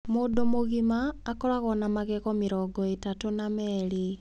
Mũndũ mũgima akoragwo na magego mĩrongo itatũ na meerĩ .